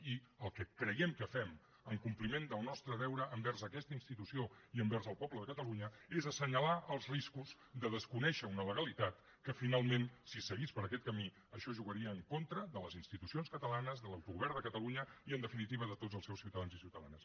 i el que creiem que fem en compliment del nostre deure envers aquesta institució i envers el poble del catalunya és assenyalar els riscos de desconèixer una legalitat que finalment si seguís per aquest camí això jugaria en contra de les institucions catalanes de l’autogovern de catalunya i en definitiva de tots els seus ciutadans i ciutadanes